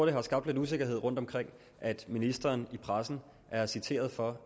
det har skabt lidt usikkerhed rundtomkring at ministeren i pressen er citeret for